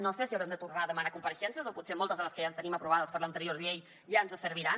no sé si haurem de tornar a demanar compareixences o potser moltes de les que ja tenim aprovades per l’anterior llei ja ens serviran